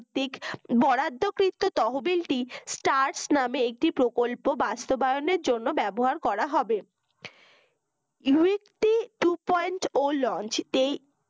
বরাদ্দকৃত তহবিলটি search নামক একটি প্রকল্প বাস্তবায়নের জন্য ব্যবহার করা হবে লো একটি two point ও launch